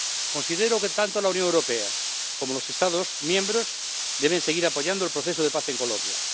Considero que tanto la Unión Europea como los Estados miembros deben seguir apoyando el proceso de paz en Colombia.